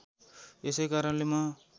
यसै कारणले म